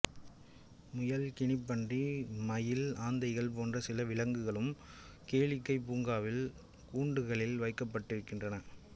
முயல் கினிப் பன்றி மயில் ஆந்தைகள் போன்ற சில விலங்குகளும் கேளிக்கை பூங்காவில் கூண்டுகளில் வைக்கப்படுகின்றன